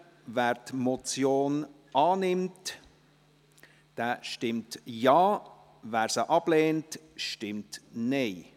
Wer die Motion annimmt, stimmt Ja, wer diese ablehnt, stimmt Nein.